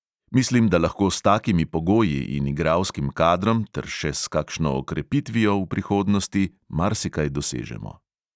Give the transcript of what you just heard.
Mislim, da lahko s takimi pogoji in igralskim kadrom ter še s kakšno okrepitvijo v prihodnosti marsikaj dosežemo.